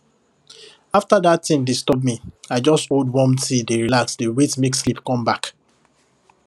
after that thing disturb me i just hold warm tea dey relax dey wait make sleep come back